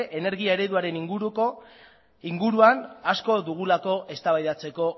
energia ereduaren inguruan asko dugulako eztabaidatzeko